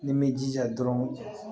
Ni n bɛ jija dɔrɔn